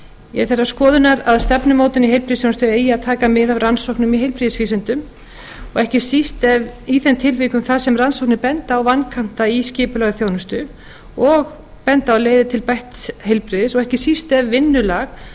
ég er þeirrar skoðunar að stefnumótun í heilbrigðisþjónustu eigi að taka mið af rannsóknum í heilbrigðisvísindum og ekki síst í þeim tilvikum þar sem rannsóknir benda á vankanta í skipulagsþjónustu og benda á leiðir til bætts heilbrigðis og ekki síst ef